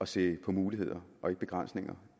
se på muligheder og ikke begrænsninger